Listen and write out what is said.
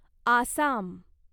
Assam